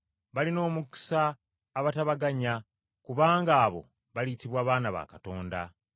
Balina omukisa abatabaganya, kubanga abo baliyitibwa baana ba Katonda.